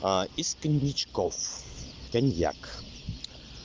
а из коньячков коньяк